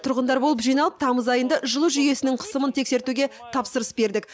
тұрғындар болып жиналып тамыз айында жылу жүйесінің қысымын тексертуге тапсырыс бердік